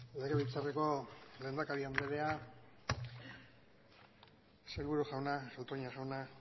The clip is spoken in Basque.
legebiltzarreko lehendakari andrea sailburu jauna toña jauna